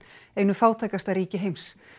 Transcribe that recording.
einu fátækasta ríki heims